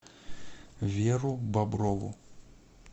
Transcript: веру боброву